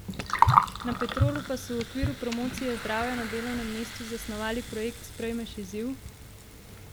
Na Petrolu pa so v okviru promocije zdravja na delovnem mestu zasnovali projekt Sprejmeš izziv?